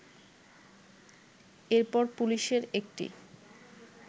এরপর পুলিশের একটি